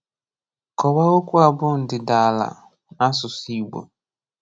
Kọwaa okwu a bụ ndịdaala n'asụsụ Igbo.